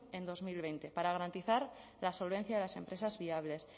en dos mil veinte para garantizar la solvencia de las empresas viables